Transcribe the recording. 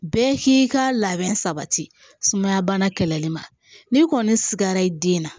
Bɛɛ k'i ka labɛn sabati sumaya bana kɛlɛli ma n'i kɔni sigara i den na